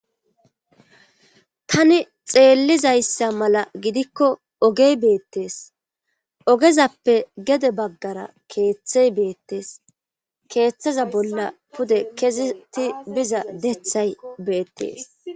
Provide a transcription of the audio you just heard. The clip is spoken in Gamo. tani xeellizayssa mala gidikko ogey beettees ogezappe gede baggara keeththey beettees keeththaza bolla pude keziti biza dethay beettees